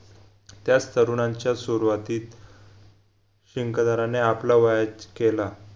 त्याच तरुणांच्या सुरवातीत आपल्या वयाच केला